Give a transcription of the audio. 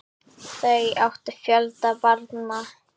Þau áttu fjölda barna.